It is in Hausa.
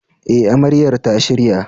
E, Amaryar ta shirya.